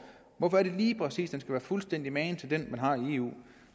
hvorfor er det lige præcis den være fuldstændig magen til den man har i eu